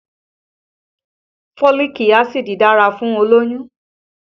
Foliiki Acid dára fún olóyún